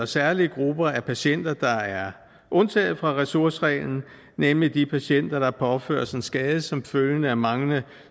særlige grupper af patienter der er undtaget fra ressourcereglen nemlig de patienter der påføres en skade som følge af manglende